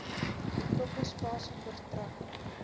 betrokke spasie verstrek